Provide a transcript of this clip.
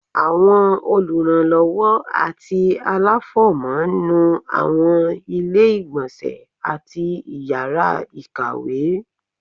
Àwọn olùrànlọwọ ati alafọmọ nú awọn ile-igbọnsẹ atí ìyara ìkàwé